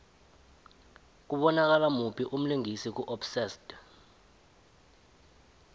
kubonakala muphi umlingisi ku obsessed